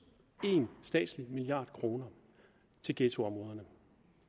en statslig milliard kroner til ghettoområderne